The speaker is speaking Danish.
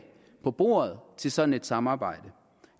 på bordet til sådan et samarbejde